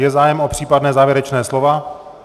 Je zájem o případná závěrečná slova?